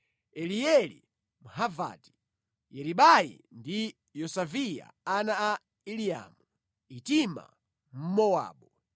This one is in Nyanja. Elieli Mhavati, Yeribai ndi Yosaviya ana a Elinaamu, Itima Mmowabu,